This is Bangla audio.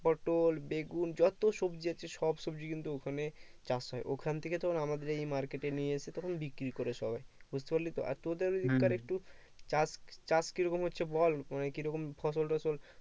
পটল বেগুন যত সবজি আছে সব সবজি কিন্তু ওখানে চাষ হয় ওখান থেকে তোর আমাদের এই market এ নিয়ে এসে তখন বিক্রি করে সবাই বুজতে পারলি তো আর তোদের ওই দিককার একটু চাষ চাষ কি রকম হচ্ছে বল মানে কি রকম ফসল টসল